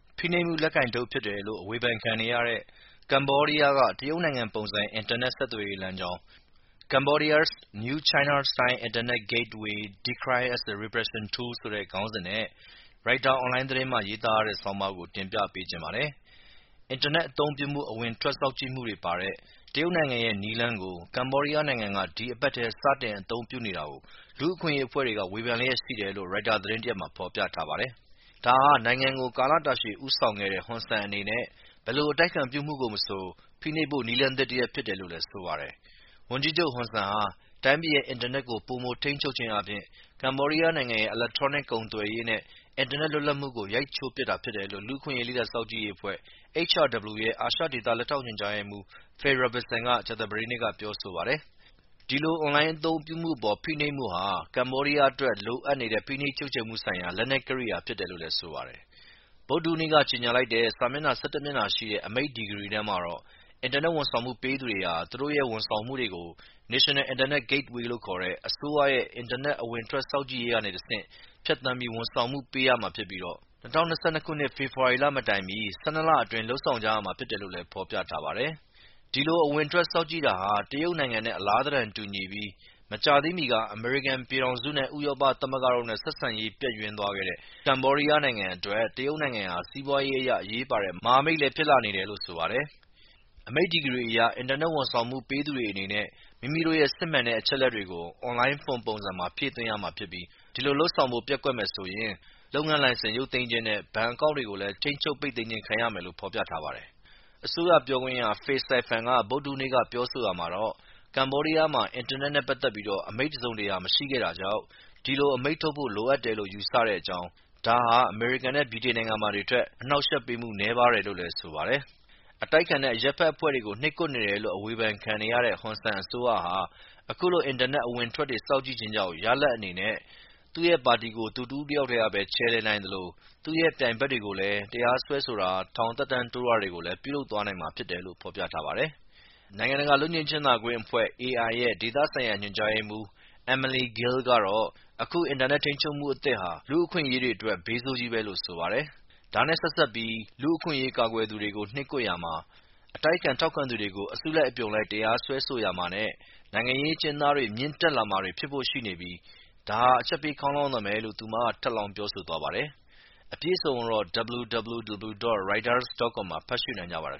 ဖိနှိပ်မှုလက်ကိုင်တုတ်ဖြစ်တယ်လို့ ဝေဖန်ခံနေရတဲ့ ကမ္ဘောဒီယားက တရုတ်ပုံစံ အင်တာနက် ဆက်သွယ်ရေးလမ်းကြောင်း - Cambodia's new China-style internet gateway decried as repression tool ဆိုတဲ့ ခေါင်းစဉ်နဲ့ ရိုက်တာအွန်လိုင်း သတင်းမှာ ရေးသားထားတဲ့ ဆောင်းပါးကို ကိုအောင်မြတ်သူက တင်ပြပေးထားပါတယ်။ အင်တာနက်အသုံးပြုမှု အဝင်အထွက်စောင့်ကြည့်မှုတွေပါတဲ့ တရုတ်နိုင်ငံရဲ့ နည်းလမ်းကို ကမ္ဘောဒီယားနိင်ငံက ဒီအပတ်ထဲ စတင်အသုံးပြုနေတာကို လူ့အခွင့်အရေးအဖွဲ့တွေက ဝေဖန်လျက်ရှိတယ်လို့ ရိုက်တာသတင်းတရပ်မှာ ဖော်ပြထားပါတယ်။ ဒါဟာ နိုင်ငံကို ကလတာရှည်ဦးဆောင်ခဲ့တဲ့ ဟွန်ဆန်အနေနဲ့ ဘယ်လိုအတိုက်အခံပြုမှုကိုမဆို ဖိနှိပ်ဖို့နည်းလည်းသစ်တရပ်ဖြစ်တယ်လို့လည်း ဆိုပါတယ်။ ဝန်ကြီးချုပ်ဟွန်ဆန်ဟာ တိုင်းပြည်ရဲ့ အင်တာနက်စနစ်ကို ပိုမို ထိန်းချုပ်ခြင်းအားဖြင့် ကမ္ဘောဒီးယားနိုင်ငံရဲ့ အီလက်ထရောနစ် ကုန်သွယ်ရေးနဲ့အင်တာနက် လွတ်လပ်မှုကို ရိုက်ချိုးပစ်တာဖြစ်တယ်လို့လူ့အခွင့်အရေး လေ့လာစောင့်ကြည့်ရေးအဖွဲ့ HRW အာရှဒေသ လက်ထောက်ညွှန်ကြားရေးမှုး Phil Robertson က ကြာသပတေးနေ့က ပြောဆိုပါတယ်။ ဒီလို အွန်လိုင်းအသုံးပြုမှုအပေါ် ဖိနှိပ်မှုဟာ လိုအပ်နေတဲ့ ဖိနှိပ်ချုပ်ခြယ်မှုဆိုင်ရာ လက်နက်ကိရိယာဖြစ်တယ်လို့ ဆိုပါတယ်။ ဗုဒ္ဓဟူးနေ့က ကြေညာလိုက်တဲ့ စာမျတ်နှာ ၁၁ မျတ်နှာရှိတဲ့ အမိန့်ဒီဂရီထဲမှာတော့ အင်တာနက် ဝန်ဆောင်မှုပေးသူတွေဟာ သူတို့ရဲ့ ဝန်ဆောင်မှုတွေကို National Internet Gateway လို့ခေါ်တဲ့ အစိုးရရဲ့ အင်တာနက် အဝင်အထွက်စောင့်ကြည့်ရေးကနေတဆင့် ဖြတ်သန်းပြီး ဝန်ဆောင်မှုပေးရမှာဖြစ်ပြီး ၂၀၂၂ ခုနှစ် ဖေဖော်ဝါရီမတိုင်မီ ၁၂ လအတွင်း လုပ်ဆောင်ရမှာဖြစ်တယ်လို့လည်းဖော်ပြထားပါတယ်။ ဒီလို အဝင်အထွက်စောင့်ကြည့်တာဟာ တရုတ်နိုင်ငံနဲ့အလားသဏ္ဍာန်တူညီပြီး မကြာသေးမီက အမေရိကန်ပြည်ထောင်စု၊ ဥရောပသမဂ္ဂတို့နဲ ့ဆက်ဆံရေးပျက်ယွင်းသွားတဲ့ ကမ္ဘောဒီယားနိုင်ငံအတွက် တရုတ်နိုင်ငံဟာ စီးပွားရေးအရ အရေးပါတဲ့ မဟာမိတ်လည်း ဖြစ်လာနေတယ် လို့ဆိုပါတယ်။ အမိန့်ဒီဂရီအရ အင်တာနက်ဝန်ဆောင်မှုပေးသူတွေအနေနဲ့မိမိတို့ရဲ့ စစ်မှန်တဲ့ အချက်အလက်တွေကို အွန်လိုင်း form ပုံစံထဲမှာ ဖြည့်သွင်းရမှာဖြစ်ပြီး ဒီလိုလုပ်ဆေင်ဖို့ပျက်ကွက်မယ်ဆိုရင် လုပ်ငန်းလိုင်စင်ရုပ်သိမ်းခြင် းနဲ့ဘဏ်အကောင့်တွေကိုလည်း ထိန်းချုပ်ပိတ်သိမ်းခြင်းခံရမယ်လို့ဖော်ပြထားပါတယ်။ အစိုးရပြောခွင့်ရ Phay Siphan က ဗုဒ္ဓဟူးနေ့က ပြောဆိုရာမှာတော့ ကမ္ဘောဒီးယားမှာ အင်တာနက်နဲ့ပက်သက်ပြီး အမိန့်တစုံတရာ မရှိခဲ့တာကြောင့် ဒီလို အမိန့်ထုတ်ဖို့လိုအပ်တယ်လို့ယူဆတဲ့အကြောင်း၊ ဒါဟာ အမေရိကန်နဲ့ဗြိတိန်နိုင်ငံတွေမှာတွေထက် အနှောက်အယှက်ပေးမှု နည်းပါတယ်လို့လည်း ဆိုပါတယ်။ အတိုက်အခံနဲ့အရပ်ဘက်အဖွဲ့တွေကို နှိပ်ကွက်နေတယ်လို့အဝေဖန်ခံနေရတဲ့ ဟွန်ဆန်အစိုးရဟာ အခုလို အင်တာနက် အဝင်အထွက်တွေ စောင့်ကြည့်ခြင်းကြောင့် ရလဒ်အနေနဲ့ သူ့ရဲ့ ပါတီကိုလည်း သူတဦးတယောက်ထဲပဲ ချယ်လှယ်နိုင်သလို သူ့ရဲ့ ပြိုင်ဘက်တွေကိုလည်း တရားစွဲဆိုတာ၊ ထောင်သက်တမ်းတိုးတာတွေကိုလည်း ပြုလုပ်သွားနိုင်မှာဖြစ်တယ် လို့ဖော်ပြထားပါတယ်။ နိုင်ငံတကာလွတ်ငြိမ်းချမ်းသာရေးအဖွဲ့(AI) ရဲ့ ဒေသဆိုင်ရာ သုတေသန ညွှန်ကြားရေးမှုး Emerlynne Gil ကတော့ ယခုအင်တာနက် ထိန်းချုပ်မှုအသစ်ဟာ လူ့အခွင့်အရေးတွေအတွက်တော့ ဘေးဆိုးကြီးပဲလို့ဆိုပါတယ်။ ဒါနဲ့ဆက်စပ်ပြီး လူ့အခွင့်အရေးကာကွယ်သူတွေကို နှိပ်ကွပ်ရာမှာ၊ အတိုက်အခံထောက်ခံသူတွေကို အစုလိုက်အပြုံလိုက် တရားစွဲဆိုရာမှာ နဲ့နိုင်ငံရေး အကျဉ်းသားအရေအတွက်တွေလည်း မြင့်တက်လာဖို့ရှိနေတာမို့ ဒါဟာ အချက်ပေးခေါင်းလောင်းသံပဲလို့သူမကထပ်လောင်းပြောဆိုသွားပါတယ်။ အပြည့်အစုံကိုတော့ Reuters.com မှာ ဖတ်ရှုနိုင်ကြပါတယ်